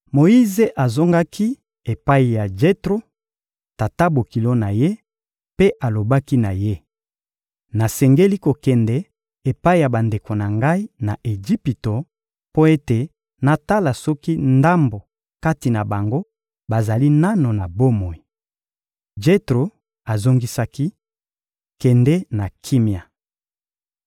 Moyize azongaki epai ya Jetro, tata-bokilo na ye, mpe alobaki na ye: — Nasengeli kokende epai ya bandeko na ngai, na Ejipito, mpo ete natala soki ndambo kati na bango bazali nanu na bomoi. Jetro ozongisaki: — Kende na kimia!